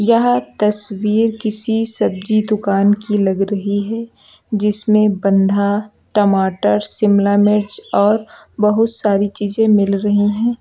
यह तस्वीर किसी सब्जी दुकान की लग रही है जिसमें बंधा टमाटर शिमला मिर्च और बहुत सारी चीजे मिल रही है।